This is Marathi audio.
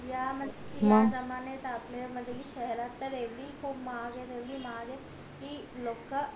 या या जमण्यात येवडी महाग येत एव्हडी महाग येत कि लोक